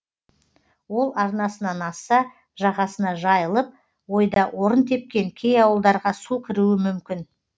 ол арнасынан асса жағасына жайылып ойда орын тепкен кей ауылдарға су кіруі мүмкін